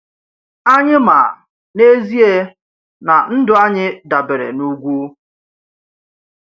Anyị ma, n’ezie, na ndụ anyị dabere n’ugwu.